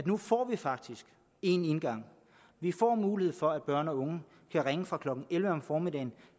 nu får vi faktisk én indgang vi får mulighed for at børn og unge kan ringe fra klokken elleve om formiddagen